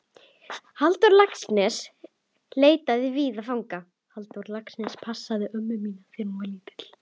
Halldór Laxness leitaði víða fanga.